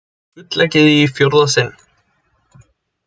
Gulleggið í fjórða sinn